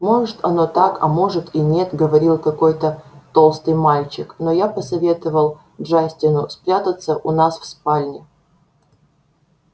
может оно так а может и нет говорил какой-то толстый мальчик но я посоветовал джастину спрятаться у нас в спальне